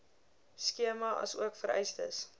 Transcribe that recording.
skema asook vereistes